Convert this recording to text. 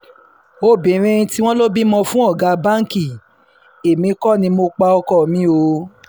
obìnrin tí wọ́n lọ bímọ fún ọ̀gá báǹkì èmi kò ní mo pa ọkọ mi o